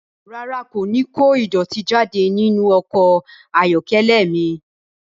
Rárá, n kò ní kó ìdọ̀tí jáde nínú ọkọ̀ ayọ́kẹ́lẹ́ mi